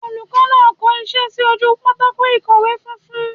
Olùkó náà ko isé sí ojú pátákó ìkọ̀wé funfun